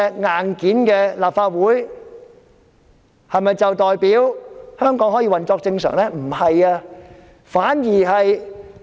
硬件的立法會回復原狀，是否代表香港可以運作正常呢？